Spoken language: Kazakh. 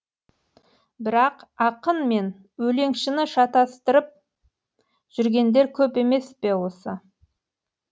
бірақ ақын мен өлеңшіні шатыстырып жүргендер көп емес пе осы